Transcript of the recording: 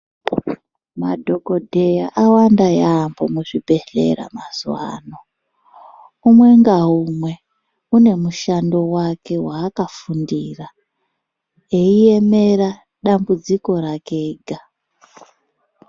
Madhokodheya awanda yaambo muzvibhedhlera mazuvano. Umwe ngaumwe une mushando wake waakafundira, eiemera dambudziko rake ega.